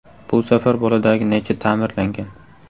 Bu safar boladagi naycha ta’mirlangan.